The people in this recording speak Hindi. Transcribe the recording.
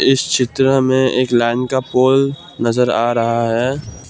इस चित्र में एक लाइन का पोल नजर आ रहा है।